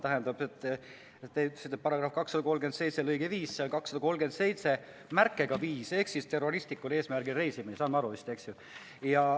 Te ütlesite, et paragrahv 237 lõige 5, aga see on 237 märkega 5 ehk siis terroristlikul eesmärgil reisimine, saame aru vist, eks ju.